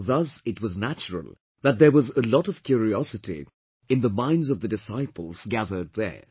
Thus it was natural that there was a lot of curiosity in the minds of the disciples gathered there